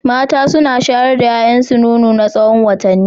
Mata suna shayar da 'ya'yansu nono na tsawon watanni.